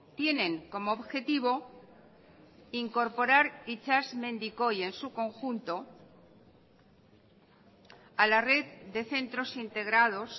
tienen como objetivo incorporar itsasmendikoi en su conjunto a la red de centros integrados